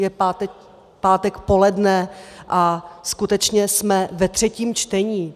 Je pátek poledne a skutečně jsme ve třetím čtení.